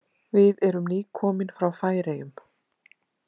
Við erum nýkomin frá Færeyjum.